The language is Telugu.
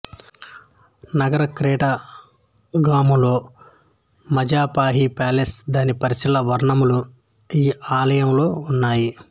నగరక్రేటగామలో మజాపాహి ప్యాలెస్ దాని పరిసరాల వర్ణనలు ఈ ఆలయంలో ఉన్నాయి